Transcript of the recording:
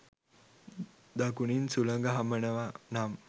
දකුණින් සුළඟ හමනවා නම්